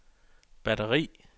batteri